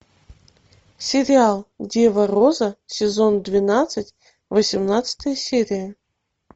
сериал дева роза сезон двенадцать восемнадцатая серия